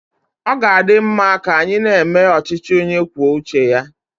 Ọ ga-adi mma ka anyị na-eme ọchịchị onye kwuo uche ya.